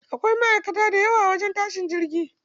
Akwai ma'aikata dayawa a wajen tashin jirgi.